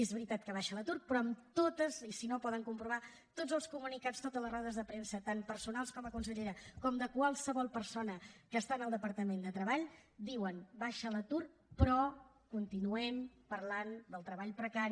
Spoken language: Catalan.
és veritat que baixa l’atur però en tots i si no ho poden comprovar els comunicats totes les rodes de premsa tant personals com a consellera com de qualsevol persona que està en el departament de treball diuen baixa l’atur però continuem parlant del treball precari